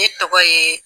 Ne tɔgɔ ye